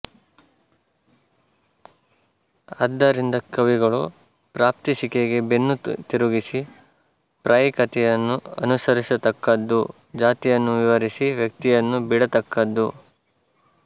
ಆದ್ದರಿಂದ ಕವಿಗಳು ಪ್ರಾಪ್ತಿಸಿಕೆಗೆ ಬೆನ್ನು ತಿರುಗಿಸಿ ಪ್ರಾಯಿಕತೆಯನ್ನು ಅನುಸರಿಸತಕ್ಕದ್ದು ಜಾತಿಯನ್ನು ವಿವರಿಸಿ ವ್ಯಕ್ತಿಯನ್ನು ಬಿಡತಕ್ಕದ್ದು